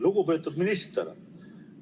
Lugupeetud minister!